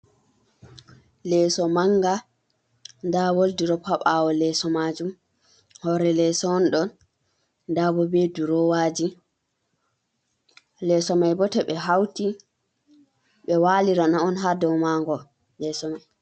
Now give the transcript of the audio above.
Leeso manga. Nda wol durop ha bawo leso majum. hore leso on ɗo. Ɗabo be ɗurowaji leso mai bo to be hauti be walirana on ha dow mango leso mai.